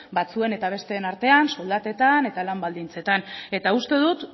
batzuen eta besteen artean soldatetan eta lan baldintzetan eta uste dut